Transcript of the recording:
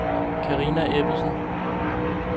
Carina Ebbesen